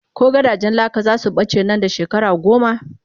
ko gidajen laka zasu bace Nan da. shekara goma?